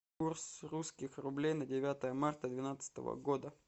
курс русских рублей на девятое марта двенадцатого года